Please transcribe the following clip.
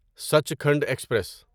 Sachkhand express